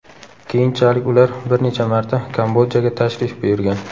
Keyinchalik ular bir necha marta Kambodjaga tashrif buyurgan.